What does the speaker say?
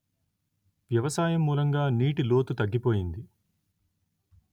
వ్యవసాయం మూలంగా నీటి లోతు తగ్గిపోయింది